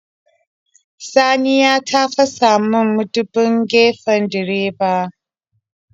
Saniya ta fasamin mudubin gefen direba.